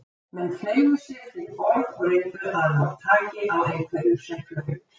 Menn fleygðu sér fyrir borð og reyndu að ná taki á einhverju sem flaut.